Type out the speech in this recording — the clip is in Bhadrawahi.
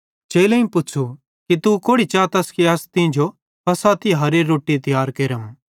चेलेईं पुच़्छ़ू कि तू कोड़ि चातस कि अस तींजो फ़सह तिहारेरी रोट्टी तियार केरम